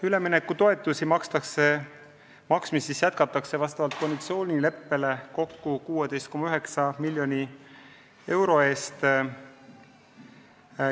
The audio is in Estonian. Üleminekutoetuste maksmist jätkatakse vastavalt koalitsioonileppele kokku 16,9 miljoni euro ulatuses.